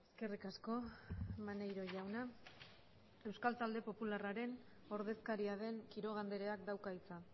eskerrik asko maneiro jauna euskal talde popularraren ordezkaria den quiroga andreak dauka hitza